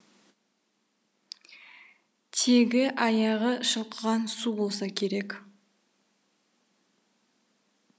тегі аяғы шылқыған су болса керек